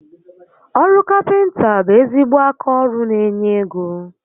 Oru Kapịnta bụ ezigbo aka ọrụ n'enye égo